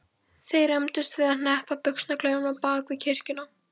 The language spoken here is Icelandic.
Þeir rembdust við að hneppa buxnaklaufunum á bak við kirkjuna.